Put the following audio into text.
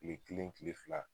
Kile kelen Kile fila